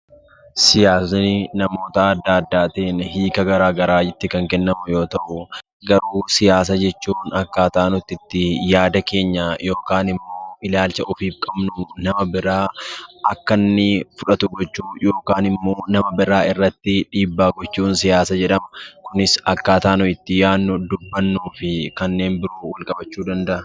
Siyaasni namoota adda addaatiin hiika gara garaa itti kan kennamu yoo ta'u; garuu siyaasa jechuun akkaataa nuti itti yaada keenya yookiin immoo ilaalcha ofiif qabnu, nama biraa akka inni fudhatu gochuu yookaan immoo nama biraa irratti dhiibbaa gochuun siyaasa jedhama. Kunis akkaataa nuyi itti yaadnu fi kanneen biroon wal qabachuu danda'a.